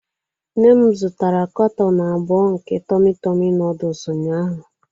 Nne m zụtara kanton abụọ nke tummy tummy noodles ụnyaahụ.